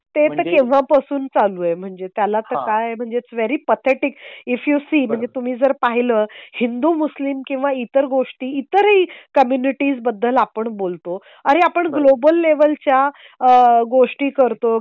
ते तर तेव्हा पासून चालू आहे. म्हणजे त्याला तर काय म्हणजेच very pathetic if you see म्हणजे तुम्ही जर पाहिलं हिंदू मुस्लिम किंवा इतर गोष्टीतर ही कम्युनिटी बद्दल आपण बोलतो अरे आपण ग्लोबल लेव्हलच्या आह गोष्टी करतो.